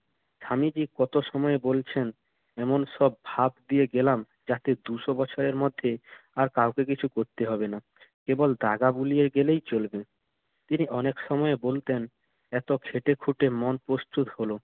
স্বামীজি কতক সময় বলছেন, এমন সব ভাব দিয়ে গেলাম যাতে দুশ বছরের মধ্যে আর কাউকে কিছু করতে হবে না। কেবল দাগা বুলিয়ে গেলেই চলবে। তিনি অনেক সময় বলতেন এত খেটেখুটে মন প্রস্তুত হলো।